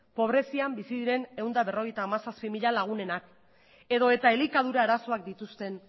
pobrezian bizi diren ehun eta berrogeita hamazazpi mila lagunenak edo eta elikadura arazoak dituzten